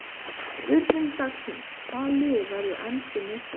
Spurning dagsins: Hvaða lið verður enskur meistari?